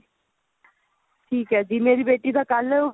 ਠੀਕ ਹੈ ਜੀ ਮੇਰੀ ਬੇਟੀ ਦਾ ਕੱਲ